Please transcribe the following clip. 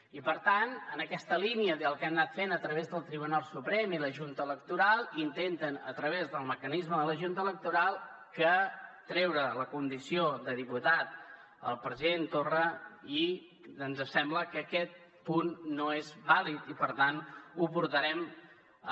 i per tant en aquesta línia del que han anat fent a través del tribunal suprem i la junta electoral intenten a través del mecanisme de la junta electoral treure la condició de diputat al president torra i ens sembla que aquest punt no és vàlid i per tant ho portarem a